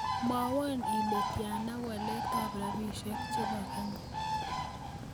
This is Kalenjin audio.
Mwowon ile tiana waletap rabisiek chebo Kenya